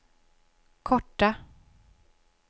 korta